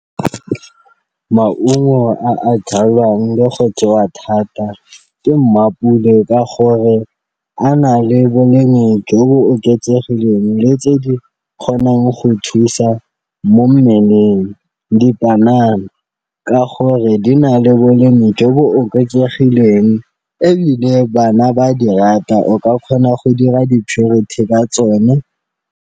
Maungo a a jalwang le go jewa thata ke ka gore a na le bolemi jo bo oketsegileng le tse di kgonang go thusa mo mmeleng, dipanana ka gore di na le bolemi jo bo oketsegileng ebile bana ba dirata o ka kgona go dira di-purity ka tsone.